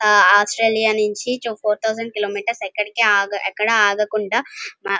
ఆ ఆస్ట్రేలియా నించి four thousand kilometres ఎక్కడ కి ఆగకుండా ఎక్కడా ఆగకుండా --